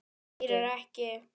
Heyrir ekki.